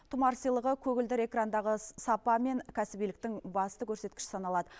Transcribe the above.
тұмар сыйлығы көгілдір экрандағы сапа мен кәсібиліктің басты көрсеткіші саналады